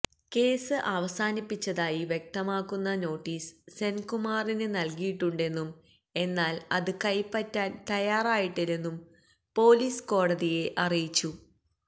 case അവസാനിപ്പിച്ചതായി വ്യക്തമാക്കുന്ന notice സെന്കുമാറിന് നല്കിയിട്ടുണ്ടെന്നും എന്നാല് അത് കൈപ്പറ്റാന് തയ്യാറായിട്ടില്ലെന്നും പൊലീസ് കോടതിയെ അറിയിച്ചു